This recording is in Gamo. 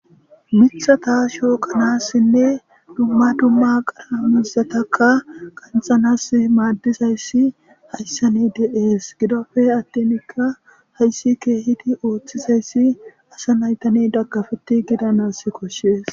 mithata shoo qanassinne dumma dumma qara mizataka qanxanas maaddizayssi hayssani de7ees gidope attinikka hayssi keehidi ooththizayssi asa naytani dagkafeti gidanas koshshees